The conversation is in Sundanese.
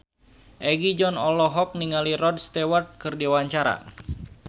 Egi John olohok ningali Rod Stewart keur diwawancara